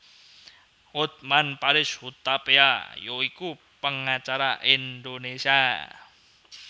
Hotman Paris Hutapea ya iku pengacara Indonesia